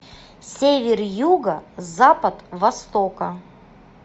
север юга запад востока